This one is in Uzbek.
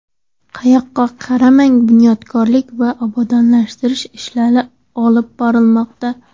Qayoqqa qaramang, bunyodkorlik va obodonlashtirish ishlari olib borilmoqda.